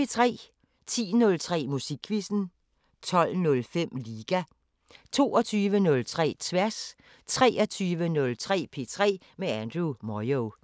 10:03: Musikquizzen 12:05: Liga 22:03: Tværs 23:03: P3 med Andrew Moyo